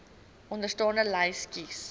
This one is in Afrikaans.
onderstaande lys kies